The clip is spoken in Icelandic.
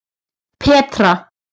Petra